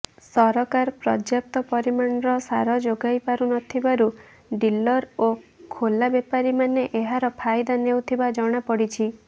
ସରକାର ପର୍ଯ୍ୟାପ୍ତ ପରିମାଣର ସାର ଯୋଗାଇ ପାରୁନଥିବାରୁ ଡିଲର ଓ ଖୋଲା ବେପାରୀମାନେ ଏହାର ଫାଇଦା ନେଉଥିବା ଜଣାପଡ଼ିଛି